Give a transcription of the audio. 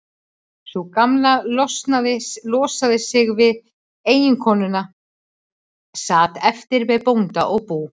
Sú Gamla losaði sig við eiginkonuna, sat eftir með bónda og bú.